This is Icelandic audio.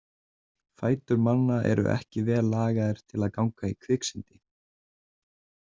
Fætur manna eru ekki vel lagaðir til að ganga í kviksyndi.